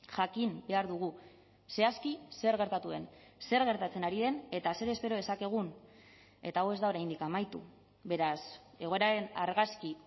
jakin behar dugu zehazki zer gertatu den zer gertatzen ari den eta zer espero dezakegun eta hau ez da oraindik amaitu beraz egoeraren argazki